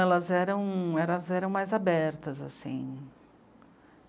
Elas eram... elas eram mais abertas, assim.